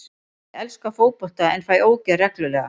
Ég elska fótbolta en fæ ógeð reglulega.